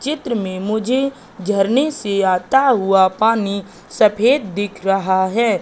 चित्र में मुझे झरने से आता हुआ पानी सफेद दिख रहा है।